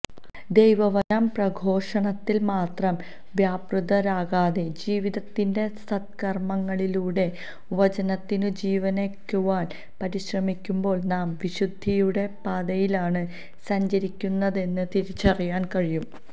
ദൈവവചന പ്രഘോഷണത്തിൽ മാത്രം വ്യാപൃതരാകാതെ ജീവിതത്തിന്റെ സത്കർമ്മങ്ങളിലൂടെ വചനത്തിനു ജീവനേകുവാൻ പരിശ്രമിക്കുമ്പോൾ നാം വിശുദ്ധിയുടെ പാതയിലാണ് സഞ്ചരിക്കുന്നതെന്ന് തിരിച്ചറിയുവാൻ കഴിയും